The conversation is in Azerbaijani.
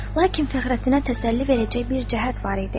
Lakin Fəxrəddinə təsəlli verəcək bir cəhət var idi.